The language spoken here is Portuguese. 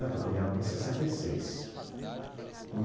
Estou caminhando para sessenta e seis.